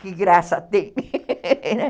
Que graça tem, né?